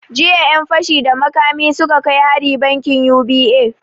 Jiya ƴan fashi da makami suka kai hari bankin U.B.A